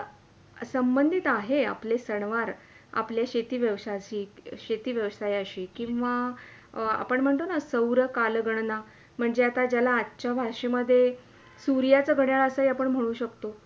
संबंधीत आहेत आपले सणवार, आपल्या शेती व्यवसायाशी, शेती व्यवसायाशी किवा आपण म्हणतो ना सौर कालगणना म्हणजे ज्याला आजच्या भाषा मधे सूर्याचे घडयाळ असे आपण म्हणू शकतो.